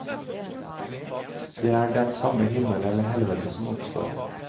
Det er den samme himmel eller helvete som oppstår.